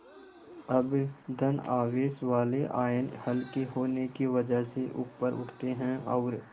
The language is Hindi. अब धन आवेश वाले आयन हल्के होने की वजह से ऊपर उठते हैं और